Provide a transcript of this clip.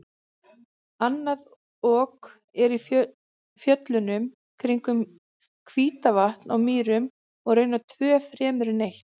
Annað Ok er í fjöllunum kringum Hítarvatn á Mýrum og raunar tvö fremur en eitt.